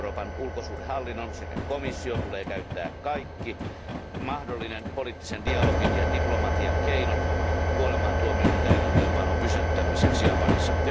Euroopan ulkosuhdehallinnon sekä komission tulee käyttää kaikki mahdolliset poliittisen dialogin ja diplomatian keinot kuolemantuomioiden täytäntöönpanon pysäyttämiseksi Japanissa.